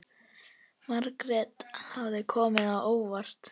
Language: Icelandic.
Margt hafði komið á óvart.